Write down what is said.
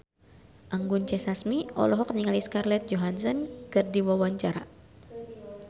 Anggun C. Sasmi olohok ningali Scarlett Johansson keur diwawancara